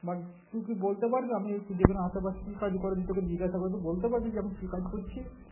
বা তুই কি বলতে আমি এই যেকোনো আশেপাশে কি কাজ করি তোকে জিজ্ঞাসা করি তুই বলতে পারবি যে আমি কি কাজ করছি